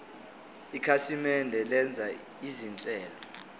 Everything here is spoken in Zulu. ikhasimende lenza izinhlelo